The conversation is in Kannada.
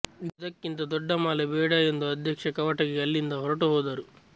ಇದಕ್ಕಿಂತ ದೊಡ್ಡ ಮಾಲೆ ಬೇಡ ಎಂದು ಅಧ್ಯಕ್ಷ ಕವಟಗಿ ಅಲ್ಲಿಂದ ಹೊರಟು ಹೋದರು